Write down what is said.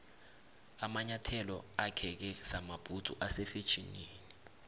amanyathelo akheke samabhudzu ase fetjhenini